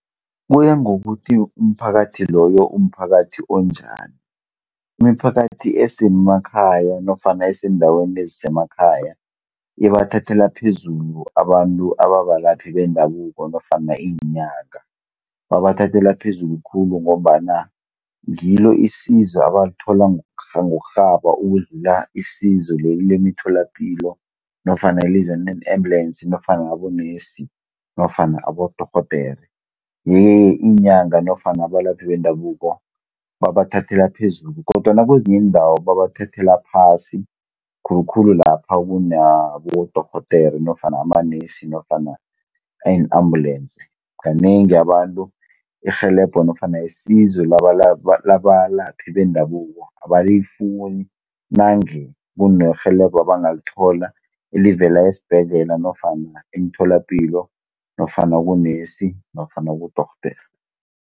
Kuya ngokuthi umphakathi loyo umphakathi onjani, imiphakathi esemakhaya nofana eseendaweni ezisemakhaya ibathathela phezulu abantu ababalaphi bendabuko nofana iinyanga. Babathathela phezulu khulu ngombana ngilo isizo abalithola ngokurhaba ukudlula isizo leli lemitholapilo nofana eliza nee-embulensi nofana abonesi nofana abodorhodere. Iye-ke iinyanga nofana abalaphi bendabuko babathathela phezulu, kodwana kezinye iindawo babathathela phasi, khulukhulu lapha kunabodorhodere nofana amanesi nofana iin-ambulensi. Kanengi abantu, irhelebho nofana isizo labalaphi bendabuko abalifuni nange kunerhelebo abangalithola elivela esibhedlela nofana emtholapilo, nofana kunesi nofana kudorhodere.